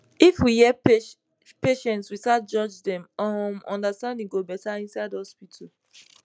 if we hear patients without judge dem um understanding go better inside hospital